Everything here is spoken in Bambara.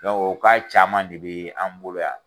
Dɔnku o caman de bɛ an bolo yan.